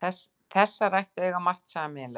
Þessar ættir eiga margt sameiginlegt.